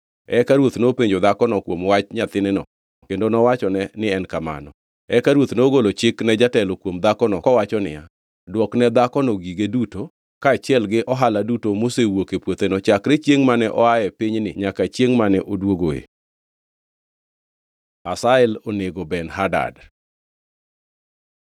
Eka ruoth nopenjo dhakono kuom wach nyathineno kendo nowachone ni en kamano. Eka ruoth nogolo chik ne jatelo kuom dhakono kowacho niya, “Dwokne dhakono gige duto, kaachiel gi ohala duto mosewuok e puotheno chakre chiengʼ mane oa e pinyni nyaka chiengʼ mane oduogoe.” Hazael onego Ben-Hadad